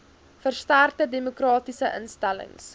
versterkte demokratiese instellings